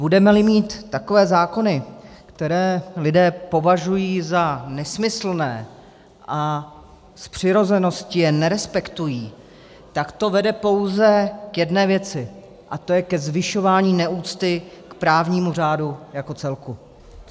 Budeme-li mít takové zákony, které lidé považují za nesmyslné a z přirozenosti je nerespektují, tak to vede pouze k jedné věci, a to ke zvyšování neúcty k právnímu řádu jako celku.